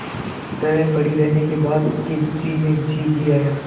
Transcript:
तरह पड़ी रहने के बाद उसके जी में जी आया